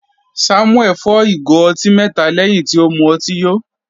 Samuel fọ́ ìgò ọtí mẹta lẹ́hìn tí ó mu ọtí yó.